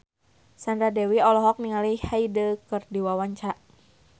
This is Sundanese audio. Sandra Dewi olohok ningali Hyde keur diwawancara